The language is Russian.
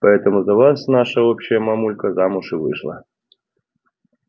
поэтому за вас наша общая мамулька замуж и вышла